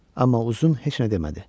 Amma uzun heç nə demədi.